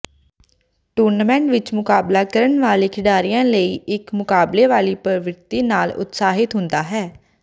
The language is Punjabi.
ਟੂਰਨਾਮੈਂਟ ਵਿਚ ਮੁਕਾਬਲਾ ਕਰਨ ਵਾਲੇ ਖਿਡਾਰੀਆਂ ਲਈ ਇਕ ਮੁਕਾਬਲੇ ਵਾਲੀ ਪ੍ਰਵਿਰਤੀ ਨਾਲ ਉਤਸ਼ਾਹਿਤ ਹੁੰਦਾ ਹੈ